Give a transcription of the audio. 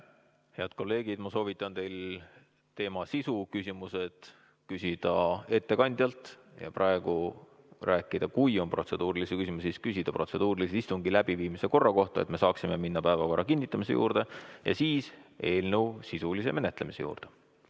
Head kolleegid, ma soovitan teil sisulisi küsimusi küsida ettekandjalt, aga praegu küsida protseduurilisi küsimusi istungi läbiviimise korra kohta, et me saaksime minna päevakorra kinnitamise juurde ja siis eelnõu sisulise menetlemise juurde.